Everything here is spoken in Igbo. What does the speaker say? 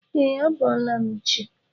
E, a bọọla m chi.